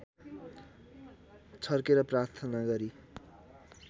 छर्केर प्रार्थना गरी